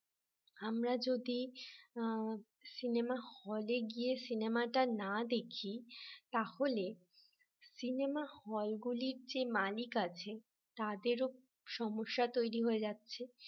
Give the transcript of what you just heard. আমরা যদি সিনেমা হলে গিয়ে সিনেমাটা না দেখি তাহলে সিনেমা হল গুলির যে মানিক আছে তাদেরও সমস্যা তৈরি হয়ে যাচ্ছে